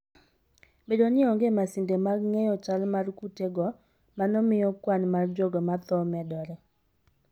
Bedo ni onge masinde mag ng'eyo chal mar kutego, mano miyo kwan mar jogo ma tho medore.